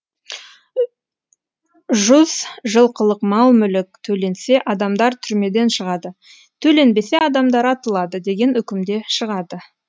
жұз жылқылық мал мүлік төленсе адамдар түрмеден шығады төленбесе адамдар атылады деген үкімде шығады